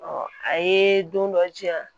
a ye don dɔ diyan